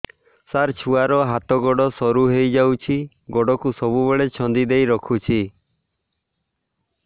ସାର ଛୁଆର ହାତ ଗୋଡ ସରୁ ହେଇ ଯାଉଛି ଗୋଡ କୁ ସବୁବେଳେ ଛନ୍ଦିଦେଇ ରଖୁଛି